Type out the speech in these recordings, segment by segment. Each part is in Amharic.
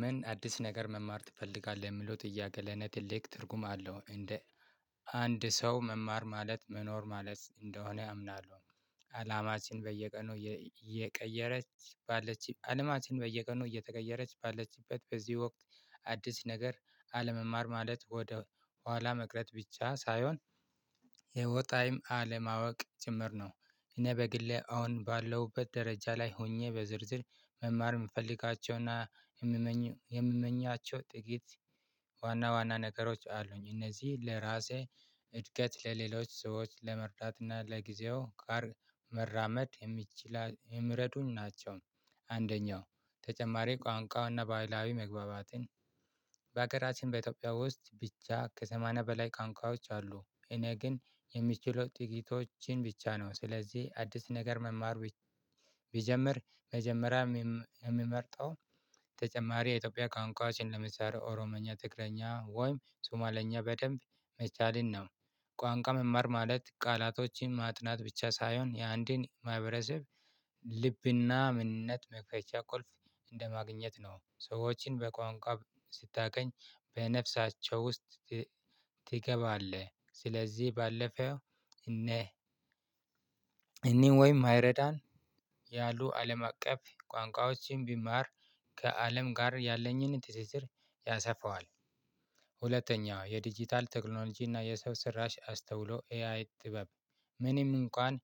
ምን አዲስ ነገር መማር ትፈልጋለህ? የሚለው ጥያቄ ለኔ ትልቅ ትርጉም አለው እንደ አንድ ሰው መማር ማለት መኖር ማለት እንደሆነ አምናለሁ። አላማችን በየቀኑ እየቀየረች ባለችበት አለማችን በየቀኑ እየተቀየረች ባለችበት በዚህ ወቅት አዲስ ነገር አለመማር ማለት ወደ ኋላ መቅረት ብቻ ሳይሆን የወጣይም አለማወቅ ጭምር ነው። እኔ በግሌ አሁን ባለውበት ደረጃ ላይ ሆኜ በዝርዝር መማር የምፈልጋቸው እና የምመኛቸው ጥቂት ዋና ዋና ነገሮች አሉኝ። እነዚህ ለራሴ እድገት ለሌሎች ሰዎች ለመርዳት እና ለጊዜው ጋር መራመድ የሚችል የሚረዱኝ ናቸው። አንደኛው ተጨማሪ ቋንቋው እና ባህላዊ መግባባትን በሀገራችን በኢትዮጵያ ውስጥ ብቻ ከሰማንያ በላይ ቋንቋዎች አሉ። እኔ ግን የሚችለው ጥቂቶችን ብቻ ነው። ስለዚህ አዲስ ነገር መማር ቢጀምር መጀመሪያ የምመርጠው ተጨማሪ የኢትዮጵያ ቋንቋዎችን ለምሳሌ ኦሮምኛ ትግረኛ ወይም ሱማልኛ በደንብ መቻልን ነው። ቋንቋ መማር ማለት ቃላቶችን ማጥናት ብቻ ሳይሆን የአንድን ማህበረሰብ ልብ እና ምንነት መክፈቻ ቁልፍ እንደማግኘት ነው። ሰዎችን በቋንቋ ስታገኝ በነፍሳቸው ውስጥ ትገባለህ። ስለዚህ ባለፈው እኔ እኔም ወይም አይረዳን ያሉ አለም አቀፍ ቋንቋዎችን ቢማር ከአለም ጋር ያለኝን ትስስር ያሰፋዋል። ሁለተኛው የዲጂታል ቴክኖሎጂ እና የሰው ስራሽ አስተውሎ ኤአይ ጥበብ ምንም እንኳን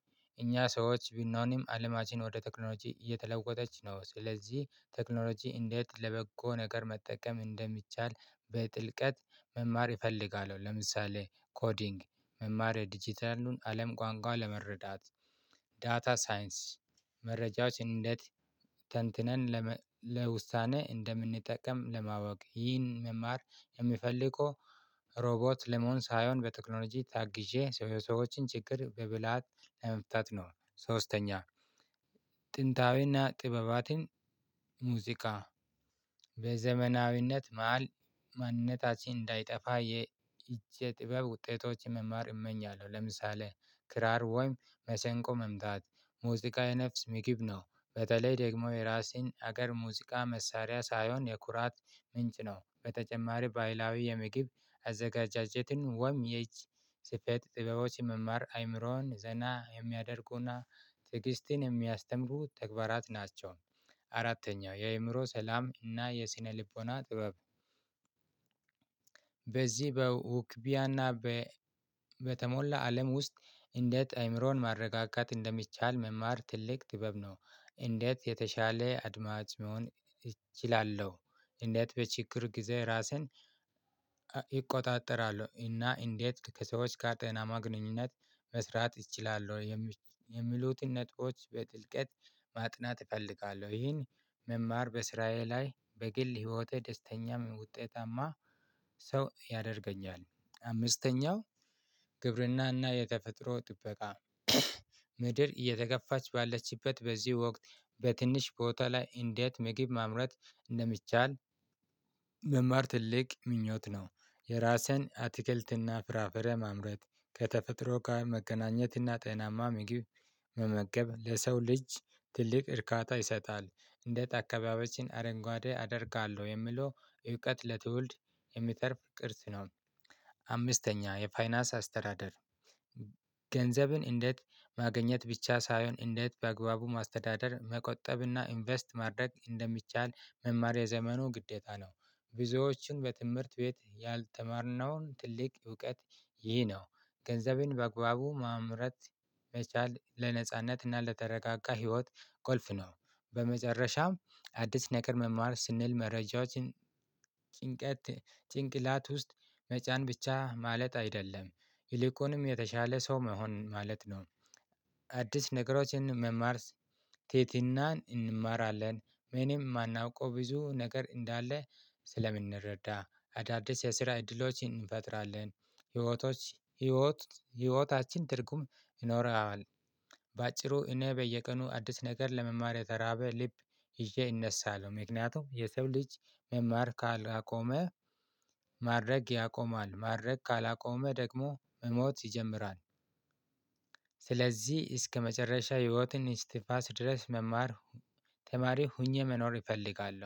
እኛ ሰዎች ቢኖንም አለማችን ወደ ቴክኖሎጂ እየተለወጠች ነው። ስለዚህ ቴክኖሎጂ እንዴት ለበጎ ነገር መጠቀም እንደሚቻል በጥልቀት መማር እፈልጋለሁ። ለምሳሌ ኮዲንግ መማር የዲጂታሉን አለም ቋንቋ ለመረዳት ዳታ ሳይንስ መረጃዎች እንዴት ተንትነን ለውሳኔ እንደምንጠቀም ለማወቅ ይህን መማር የምፈልገው ሮቦት ለመሆን ሳይሆን በቴክኖሎጂ ታግዤ የሰዎችን ችግር በብልሃት ለመፍታት ነው። ሶስተኛ ጥንታዊ እና ጥበባትን ሙዚቃ በዘመናዊነት መሃል ማንነታችን እንዳይጠፋ የይህቺ ጥበብ ውጤቶችን መማር እመኛለሁ። ለምሳሌ ክራር ወይም መሰንቆ መምታት ሙዚቃ የነፍስ ምግብ ነው። በተለይ ደግሞ የራሴን ሀገር ሙዚቃ መሳሪያ ሳይሆን የኩራት ምንጭ ነው። በተጨማሪ ባህላዊ የምግብ አዘጋጃጀትን ወይም የይች ስፌት ጥበቦች የመማር አይምሮን ዘና የሚያደርጉ እና ትዕግስትን የሚያስተምሩ ተግባራት ናቸው። አራተኛው የአእምሮ ሰላም እና የስነ ልቦና ጥበብ በውክቢያ እና በ በተሞላ አለም ውስጥ እንዴት አይምሮን ማረጋጋት እንደሚቻል መማር ትልቅ ጥበብ ነው። እንዴት የተሻለ አድማጭ መሆን እችላለሁ? እንዴት በችግር ጊዜ ራስህን እቆጣጠራለሁ እና እንዴት ከሰዎች ጋር ጤናማ ግንኙነት መስራት እችላለሁ? የሚሉትን ነጥቦች በጥልቀት ማጥናት እፈልጋለሁ ይሄን መማር በስራዬ ላይ በግል ህይወቴ ደስተኛም ውጤታማ ሰው ያደርገኛል። አምስተኛው ግብር እና እና የተፈጥሮ ጥበቃ ምድር እየተገፋች ባለችበት በዚህ ወቅት በትንሽ ቦታ ላይ እንዴት ምግብ ማምረት እንደሚቻል መማር ትልቅ ምኞት ነው። የራስን አትክልት እና ፍራፍሬ ማምረት ከተፈጥሮ ጋር መገናኘት እና ጤናማ ምግብ መመገብ ለሰው ልጅ ትልቅ እርካታ ይሰጣል። እንዴት አካባቢያችን አረንጓዴ አደርጋለሁ የሚለው እውቀት ለትውልድ የሚተርፍ ቅርስ ነው። አምስተኛ የፋይናንስ አስተዳደር ገንዘብን እንዴት ማገኘት ብቻ ሳይሆን እንዴት በአግባቡ ማስተዳደር መቆጠብ እና ኢንቨስት ማድረግ እንደሚቻል መማር የዘመኑ ግዴታ ነው። ብዙዎችን በትምህርት ቤት ያልተማርነውን ትልቅ እውቀት ይህ ነው። ገንዘብን በአግባቡ ማምረት መቻል ለነጻነት እና ለተረጋጋ ህይወት ቁልፍ ነው። በመጨረሻም አዲስ ነገር መማር ስንል መረጃዎችን ጭንቀት ጭንቅላት ውስጥ መጫን ብቻ ማለት አይደለም። ይልቁንም የተሻለ ሰው መሆን ማለት ነው። አዲስ ነገሮችን መማር ትህትናን እንማራለን። ምንም የማናውቀው ብዙ ነገር እንዳለ ስለምንረዳ አዳዲስ የስራ እድሎችን እንፈጥራለን። ህይወቶች ህይወት ህይወታችን ትርጉም ይኖረዋል። በአጭሩ እኔ በየቀኑ አዲስ ነገር ለመማር የተራበ ልብ ይዤ እነሳለው ነው ምክንያቱም የሰው ልጅ መማር ካላቆመ ማድረግ ያቆማል ማድረግ ካላቆመ ደግሞ መሞት ይጀምራል። ስለዚህ እስከመጨረሻ የህይወትን እስትፋስ ድረስ መማር ተማሪ ሆኜ መኖር እፈልጋለሁ